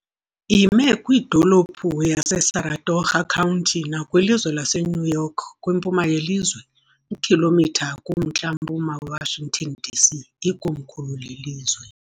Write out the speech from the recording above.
Ime kwidolophu yaseSaratoga County nakwilizwe laseNew York, kwimpuma yelizwe, iikhilomitha kumntla-mpuma weWashington , DC, ikomkhulu lelizwe.